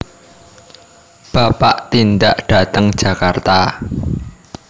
Bapak tindak dateng Jakarta